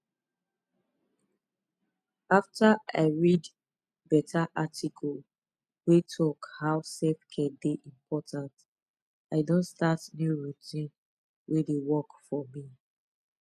after i read beta article wey talk how selfcare dey important i don start new routine wey dey work for me